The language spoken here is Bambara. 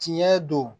Tiɲɛ don